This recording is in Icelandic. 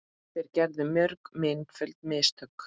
Þeir gerðu mörg einföld mistök.